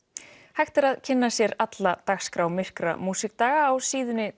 hægt er að kynna sér alla dagskrá myrkra músíkdaga á síðunni